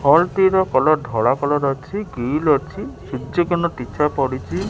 ବଲଟି ର କଲର ଧଳା କଲର ଅଛି ଗିଲ ଅଛି ସୂର୍ଯ୍ୟ କିରଣ ତୀର୍ଚ୍ଚା ପଡ଼ିଚି।